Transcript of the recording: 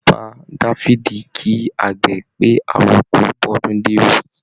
Bàbá Dáfídì kí àgbè pé, àrọko bọ́dúndé ó